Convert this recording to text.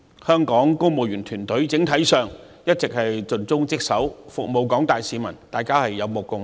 香港公務員團隊整體一直盡忠職守，服務廣大市民，大家有目共睹。